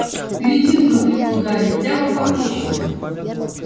гляди вдруг крикнул гарри прямо по курсу